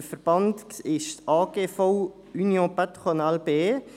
Der Verband ist der AGV Union patronale BE.